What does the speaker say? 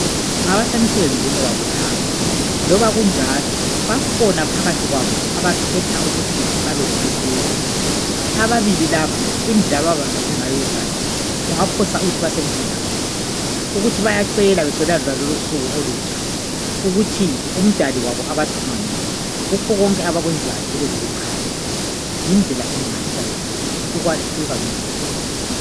Ngabasemsebenzini wabo laba. Loba kunjalo, bakhona phakathi kwabo abakhetha ukuthi babelomehluko. Ababili laba, indlela ababambane ngayo izandla. Ungaphosa uthi basemthandazweni. Ukuthi bayacela becelela lonalolu usuku olutsha, ukuthi umdali wabo abathungamele Kukho konke abakwenzayo, kube lokukhanya. Yindlela emangalisayo yonale. Ukwahluka, ngendlela enhle.